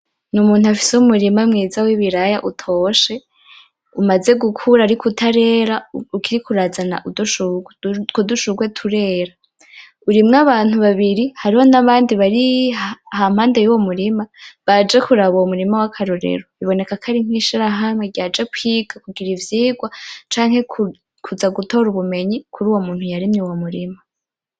Ni umuntu afise umurima mwiza w'ibiraya utoshe, umaze gukura ariko utarera ukiriko urazana udushurwe, utwo dushurwe turera. Urimwo abantu babiri, hariho n'abandi bari impande y'uwo murima baje kuraba uwo murima w'akarorero, biboneka ko ari nk'ishirahamwe ryaje kwiga, kugira ivyigwa canke kuza gutora ubumenyi kuri uwo muntu yarimye uwo murima.